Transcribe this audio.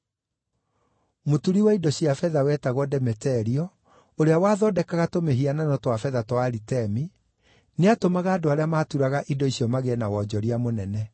Mũturi wa indo cia betha wetagwo Demeterio, ũrĩa wathondekaga tũmĩhianano twa betha twa Aritemi, nĩatũmaga andũ arĩa maaturaga indo icio magĩe na wonjoria mũnene.